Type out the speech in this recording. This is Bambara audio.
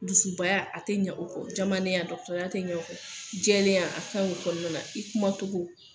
Dusubaya, a tɛ ɲan o kɔ , jamalena , dɔgotɔrɔya tɛ ɲan o kɔ , jɛlenya a ka ɲin o kɔnɔna na, i kumacogo.